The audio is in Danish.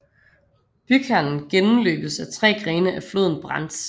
Bykernen gennmløbes af tre grene af floden Brenz